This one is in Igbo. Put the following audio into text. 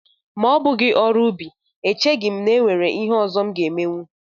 Ma ọ bụghị ọrụ ubi echeghị m na e nwere ihe ọzọ m ga-emenwu